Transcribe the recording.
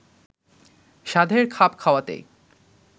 সাধের খাপ খাওয়াতেই